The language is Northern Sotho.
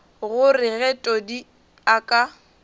gore ge todi a ka